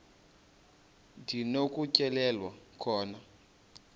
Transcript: ndi nokutyhilelwa khona